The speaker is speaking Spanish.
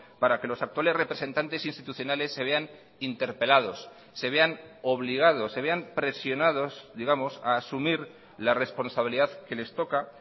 para que los actuales representantes institucionales se vean interpelados se vean obligados se vean presionados digamos a asumir la responsabilidad que les toca